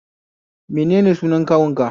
Menene sunan kawunka?